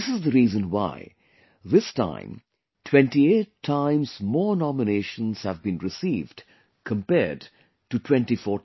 This is the reason why this time 28 times more nominations have been received compared to 2014